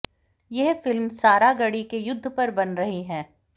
यह फिल्म सारागढ़ी के युद्ध पर बन रही है